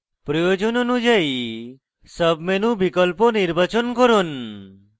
প্রয়োজন অনুযায়ী sub menu বিকল্প নির্বাচন করুন